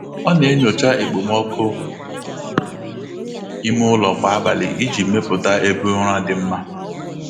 Ọ na-enyocha okpomọkụ ime ụlọ kwa abalị iji mepụta ebe ụra dị mma.